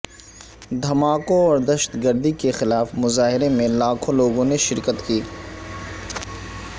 دھماکوں اور دہشت گردی کے خلاف مظاہرے میں لاکھوں لوگوں نے شرکت کی